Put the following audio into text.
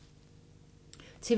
TV 2